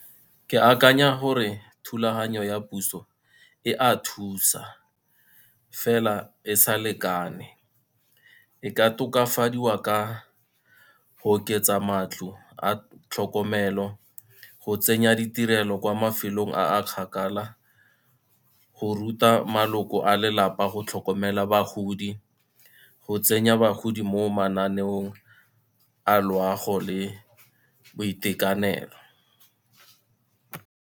Ke akanya gore thulaganyo ya puso e a thusa, fela e sa lekane. E ka tokafadiwa ka go oketsa matlo a tlhokomelo, go tsenya ditirelo kwa mafelong a kgakala, go ruta maloko a lelapa go tlhokomela bagodi, go tsenya bagodi mo mananeong a loago le boitekanelo.